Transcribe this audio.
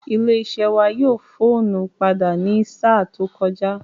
Ilé iṣẹ́ wa yí fóònù padà ní sáà tó kọjá